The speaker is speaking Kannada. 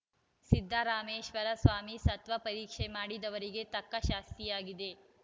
ಸಿದ್ದರಾಮೇಶ್ವರ ಸ್ವಾಮಿ ಸತ್ವ ಪರೀಕ್ಷೆ ಮಾಡಿದವರಿಗೆ ತಕ್ಕ ಶಾಸ್ತಿಯಾಗಿದೆ